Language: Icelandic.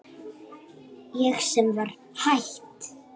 Ég sem var hætt.